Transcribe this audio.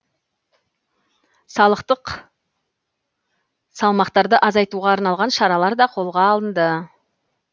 салықтық салмақтарды азайтуға арналған шаралар да қолға алынды